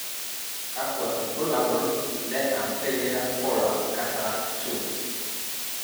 Kakwa ibulabul le Anterior polar cataract 2?